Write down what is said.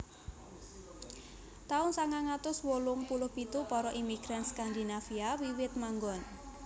Taun sangang atus wolung puluh pitu Para imigran Skandinavia wiwit manggon